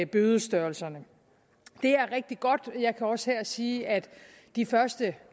bødestørrelserne det er rigtig godt jeg kan også her sige at de første